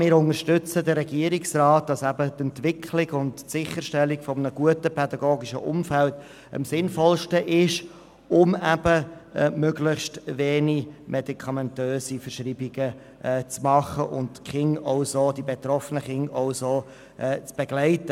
Wir gehen mit dem Regierungsrat darin einig, dass die Entwicklung und Sicherstellung eines guten pädagogischen Umfelds am sinnvollsten ist, um möglichst wenige Medikamente zu verschreiben und die betroffenen Kinder zu begleiten.